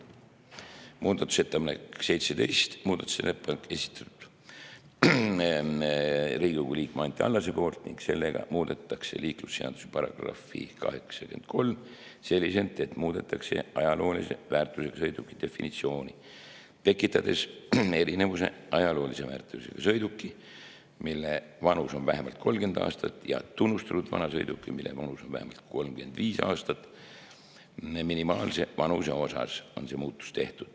Muudatusettepaneku nr 17 on esitanud Riigikogu liige Anti Allas ning sellega muudetakse liiklusseaduse § 83 selliselt, et muudetakse ajaloolise väärtusega sõiduki definitsiooni, tekitades erinevuse ajaloolise väärtusega sõiduki, mille vanus on vähemalt 30 aastat, ja tunnustatud vanasõiduki, mille vanus on vähemalt 35 aastat, minimaalse vanuse vahel.